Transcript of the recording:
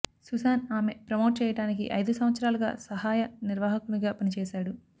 Susan ఆమె promote చేయటానికి ఐదు సంవత్సరాలుగా సహాయ నిర్వాహకునిగా పనిచేసాడు